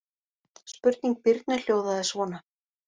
Spurning Birnu hljóðaði svona: